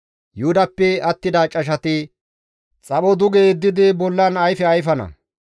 Yuhudappe attida cashati xapho duge yeddidi bollan ayfe ayfana.